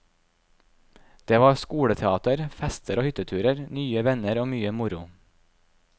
Det var skoleteater, fester og hytteturer, nye venner og mye moro.